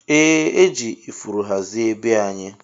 Eeh eji ifuru hazie bee anyi.